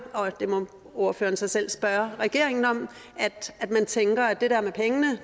og det må ordføreren så selv spørge regeringen om at man tænker at det der med pengene